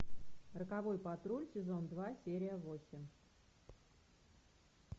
роковой патруль сезон два серия восемь